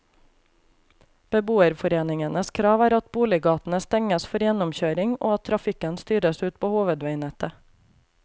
Beboerforeningenes krav er at boliggatene stenges for gjennomkjøring og at trafikken styres ut på hovedveinettet.